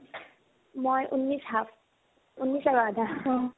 মই ঊন্নিছ half ঊন্নিছ আৰু আধা।